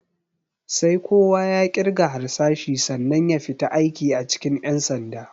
Sai kowa ya ƙirga harsashi sannan ya fita aiki a cikin ƴan sanda.